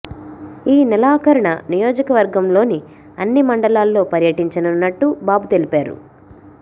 ఈ నెలాఖరున నియోజకవర్గంలోని అన్ని మండలాల్లో పర్యటించనున్నట్టు బాబు తెలిపారు